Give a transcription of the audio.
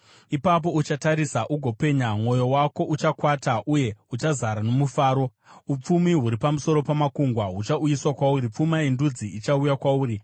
Ipapo uchatarisa ugopenya, mwoyo wako uchakwata uye uchazara nomufaro; upfumi huri pamusoro pamakungwa huchauyiswa kwauri, pfuma yendudzi ichauya kwauri.